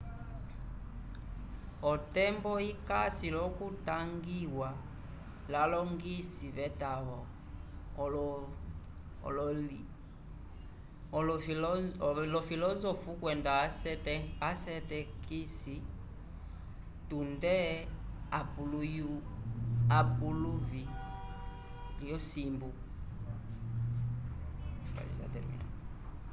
otembo ikasi l'okutangiwa l'alongisi v'etavo olofilozofu kwenda asetekisi tunde epuluvi lyosimbu